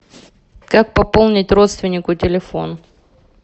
как пополнить родственнику телефон